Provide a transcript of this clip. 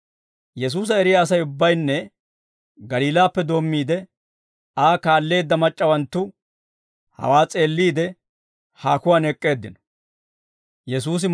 Yesuusa eriyaa Asay ubbaynne Galiilaappe doommiide Aa kaalleedda mac'c'awanttu hawaa s'eelliide, haakuwaan ek'k'eeddino.